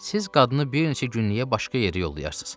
Siz qadını bir neçə günlükə başqa yerə yollayarsız.